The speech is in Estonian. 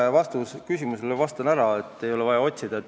Ma vastan Urve küsimusele ära, ei ole vaja otsida.